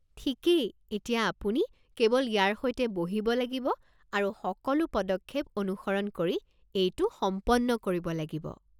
ঠিকেই! এতিয়া আপুনি কেৱল ইয়াৰ সৈতে বহিব লাগিব আৰু সকলো পদক্ষেপ অনুসৰণ কৰি এইটো সম্পন্ন কৰিব লাগিব।